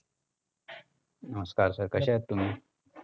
नमस्कार sir कशे आहात तुम्ही?